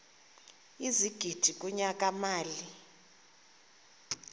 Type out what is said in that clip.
ezigidi kunyaka mali